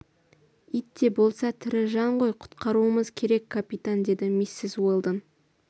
ит те болса тірі жан ғой құтқаруымыз керек капитан деді миссис уэлдон